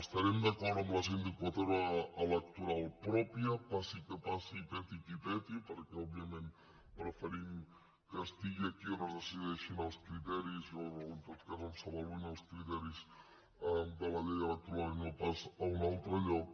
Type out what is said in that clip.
estarem d’acord en la sindicatura electoral pròpia passi el que passi i peti qui peti perquè òbviament preferim que sigui aquí on es decideixin els criteris o en tot cas on s’avaluïn els criteris de la llei electoral i no pas a un altre lloc